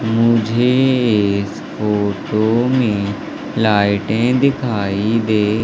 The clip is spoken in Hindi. मुझे इस फोटो में लाइटें दिखाई दे--